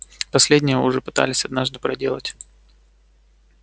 последнее вы уже пытались однажды проделать